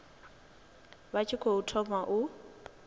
vha tshi tou thoma u